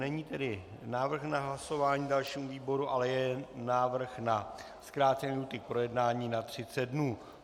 Není tedy návrh na hlasování dalšímu výboru, ale je návrh na zkrácení lhůty k projednání na 30 dnů.